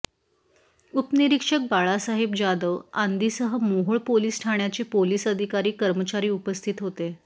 उपनिरीक्षक बाळासाहेब जाधव आदींसह मोहोळ पोलिस ठाण्याचे पोलिस अधिकारी कर्मचारी उपस्थित होते